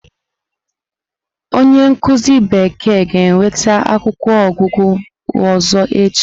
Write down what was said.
Onye nkuzi bekee ga-ewete akwụkwọ ogúgu ọzọ echi.